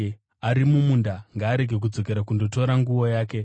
Ari mumunda ngaarege kudzokera kundotora nguo yake.